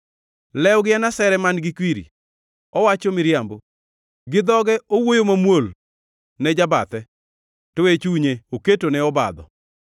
Lewgi en asere man-gi kwiri; owacho miriambo. Gi dhoge owuoyo mamuol ne jabathe, to e chunye oketone obadho.”